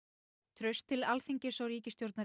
traust til Alþingis og ríkisstjórnar